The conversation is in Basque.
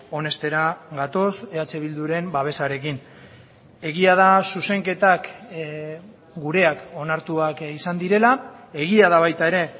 onestera gatoz eh bilduren babesarekin egia da zuzenketak gureak onartuak izan direla egia da baita ere